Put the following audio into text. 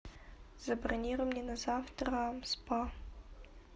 забронируй мне на завтра спа